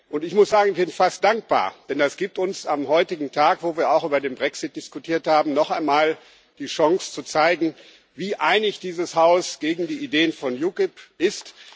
Und ich muss sagen, ich bin fast dankbar, denn das gibt uns am heutigen Tag, wo wir auch über den Brexit diskutiert haben, noch einmal die Chance zu zeigen, wie einig dieses Haus gegen die Ideen der UKIP ist.